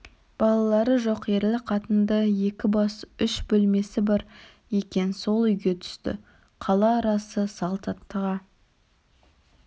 балалары жоқ ерлі-қатынды екі бас үш бөлмесі бар екен сол үйге түсті қала арасы салт аттыға